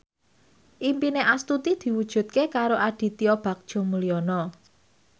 impine Astuti diwujudke karo Aditya Bagja Mulyana